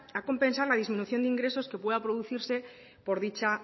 a compensar la disminución de ingresos que puedan producirse por dicha